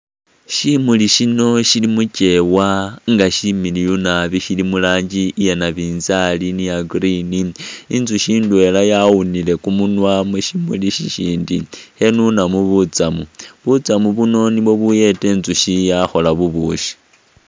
Shimuli shino shili mukyeewa nga shimiliyu naabi shili mulangi iya nabizali ni ya green intsushi itwela yawunile kumunwa mushimuli shishindi khanunamu butsamu, butsamu buno nibo buyeta intsushi yakhola bubushi.